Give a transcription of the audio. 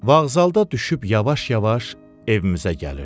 Vaqzalda düşüb yavaş-yavaş evimizə gəlirdim.